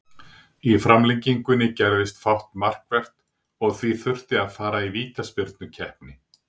Í framlengingunni gerðist fátt markvert og því þurfti að fara í vítaspyrnukeppni.